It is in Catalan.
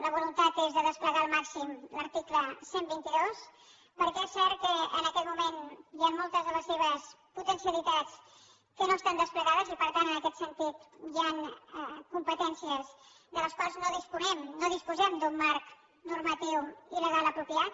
la voluntat és de desplegar al màxim l’article cent i vint dos perquè és cert que en aquest moment hi han moltes de les seves potencialitats que no estan desplegades i per tant en aquest sentit hi han competències de les quals no disposem d’un marc normatiu i legal apropiat